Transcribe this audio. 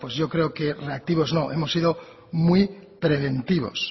inactivos no hemos sido muy preventivos